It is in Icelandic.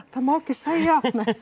má ekki segja